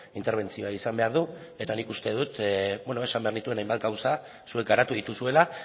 interbentzioa izan behar du eta nik uste dut esan behar nituen hainbat gauza zuek garatu dituzuela